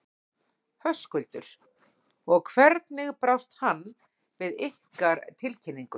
Höskuldur: Og hvernig brást hann við ykkar tilkynningu?